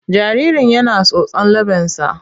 Jaririn yana tsotson leɓensa.